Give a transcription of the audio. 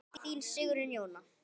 Þín Sigrún Jóna.